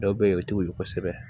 Dɔw bɛ ye o t'u wolo kosɛbɛ